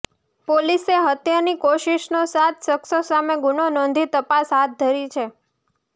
પોલીસે હત્યાની કોશિષનો સાત શખ્સો સામે ગુનો નોંધી તપાસ હાથધરી છે